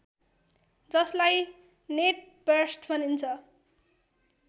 जसलाई नेटबर्स्ट भनिन्छ